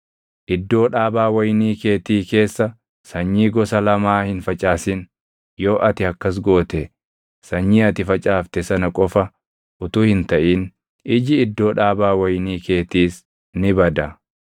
Iddoo dhaabaa wayinii keetii keessa sanyii gosa lamaa hin facaasin; yoo ati akkas goote sanyii ati facaafte sana qofa utuu hin taʼin iji iddoo dhaabaa wayinii keetiis ni bada.